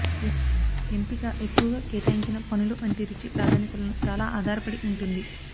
ఎంపిక ఎక్కువగా కేటాయించిన పనులు వంటి రుచి ప్రాధాన్యతలను చాలా ఆధారపడి ఉంటుంది